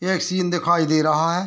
यह एक सीन दिखाई दे रहा है।